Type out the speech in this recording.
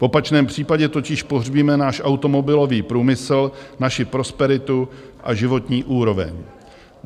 V opačném případě totiž pohřbíme náš automobilový průmysl, naši prosperitu a životní úroveň.